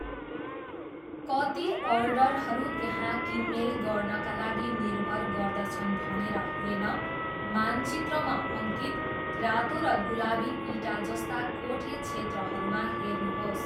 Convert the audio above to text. कति अर्डरहरू त्यहाँ किनमेल गर्नाका लागि निर्भर गर्दछन् भनेर हेर्न मानचित्रमा अङ्कित रातो र गुलाबी इँटा जस्ता कोठे क्षेत्रहरूमा हेर्नुहोस्।